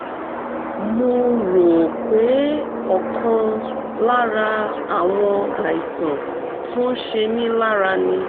mo rò pé ọ̀kan lára àwọn àìsàn tó ń ṣe mí lára ni